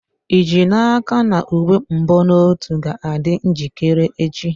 Ị ji n'aka na uwe mbonotu ga-adị njikere echi?